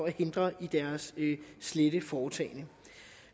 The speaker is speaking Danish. hindret i deres slette foretagender